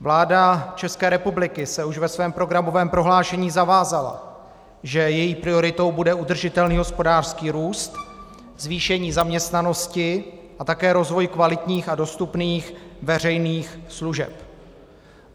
Vláda České republiky se už ve svém programovém prohlášení zavázala, že její prioritou bude udržitelný hospodářský růst, zvýšení zaměstnanosti a také rozvoj kvalitních a dostupných veřejných služeb.